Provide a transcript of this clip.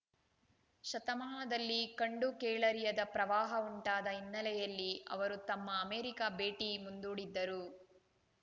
ಶತಮಾನದಲ್ಲಿ ಕಂಡುಕೇಳರಿಯದ ಪ್ರವಾಹ ಉಂಟಾದ ಹಿನ್ನೆಲೆಯಲ್ಲಿ ಅವರು ತಮ್ಮ ಅಮೆರಿಕ ಭೇಟಿ ಮುಂದೂಡಿದ್ದರು